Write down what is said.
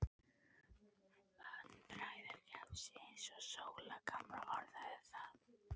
Vandræðagemsi, eins og Sóla gamla orðaði það.